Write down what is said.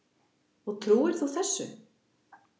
Og trúir þú þessu?